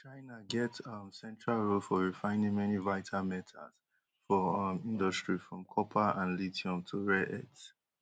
china get um central role for refining many vital metals for um industry from copper and lithium to rare earths